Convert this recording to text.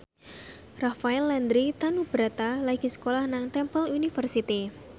Rafael Landry Tanubrata lagi sekolah nang Temple University